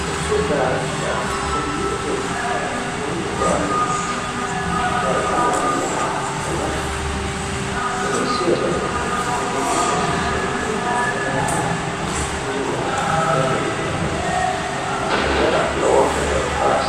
Dubbu daafira konni dubbu daafira mannu baaluniku dariga wore la'a agarra meesi hedo ikko mootimate hasisannota ikkitino daafira baalunikuni kunira hedo tunige agarra garigarani lowo hedo aa hasisanno